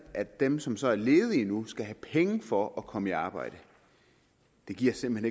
at dem som så er ledige nu skal have penge for at komme i arbejde det giver simpelt